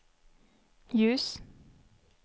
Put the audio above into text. ljus